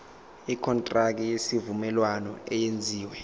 ikontraki yesivumelwano eyenziwe